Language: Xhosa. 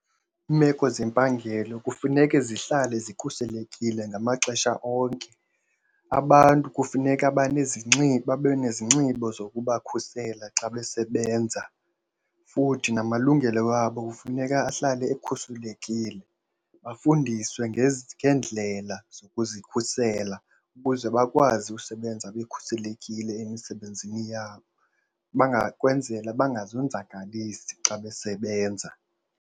Iimeko zempangelo kufuneke zihlale zikhuselekile ngamaxesha onke, abantu kufuneka babe nezinxibo zokubakhusela xa besebenza. Futhi namalungelo wabo kufuneka ahlale ekhuselekile, bafundiswe ngeendlela zokuzikhusela ukuze bakwazi usebenza bekhuselekile emisebenzini yabo, ukwenzela bangazonzakalisi xa besebenza.